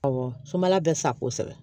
Awɔ sumala bɛ sa kosɛbɛ